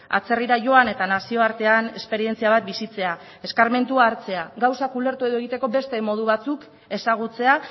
atzerrira joan eta nazioartean esperientzia bat bizitzea eskarmentua hartzea gauzak ulertu edo egiteko beste modu batzuk ezagutzea